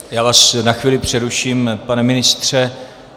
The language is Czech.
Já vás na chvíli přeruším, pane ministře.